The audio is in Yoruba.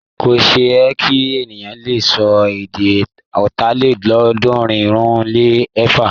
Kò ṣe é ṣe kí ènìyàn le sọ èdè Ọ̀tàlélọ́ọ̀ọ́dúnrún-lé-ẹ̀fà.